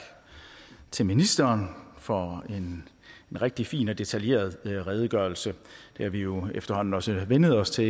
til ministeren for en rigtig fin og detaljeret redegørelse det har vi jo efterhånden også vænnet os til